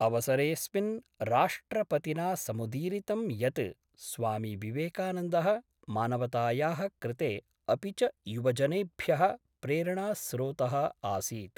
अवसरेऽस्मिन् राष्ट्रपतिना समुदीरितं यत् स्वामी विवेकानन्दः मानवतायाः कृते अपि च युवजनेभ्यः प्रेरणास्रोतः आसीत्।